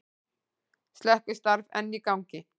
Slökkvistarf enn í gangi